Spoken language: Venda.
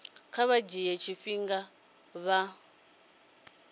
kha vha dzhie tshifhinga vha